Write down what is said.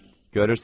Görürsən?